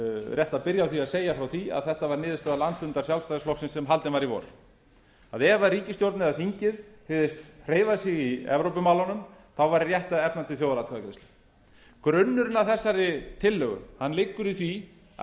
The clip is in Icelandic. rétt að byrja á að segja frá því að þetta var niðurstaða landsfundar sjálfstæðisflokksins sem haldin var í vor að ef ríkisstjórnin eða þingið hygðist hreyfa því í evrópumálunum þá var rétt að efna til þjóðaratkvæðagreiðslu grunnurinn að þessari tillögu liggur í því að